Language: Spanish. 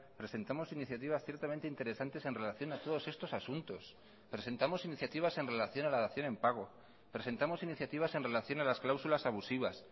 presentamos iniciativas ciertamente interesantes en relación a todos estos asuntos presentamos iniciativas en relación a la dación en pago presentamos iniciativas en relación a las cláusulas abusivas